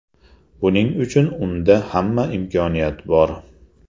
Buning uchun unda hamma imkoniyat bor.